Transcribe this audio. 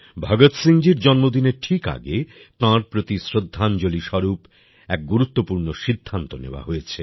ভগৎ সিং জীর জন্মদিনের ঠিক আগে তাঁর প্রতি শ্রদ্ধাঞ্জলি স্বরূপ এক গুরুত্বপূর্ণ সিদ্ধান্ত নেওয়া হয়েছে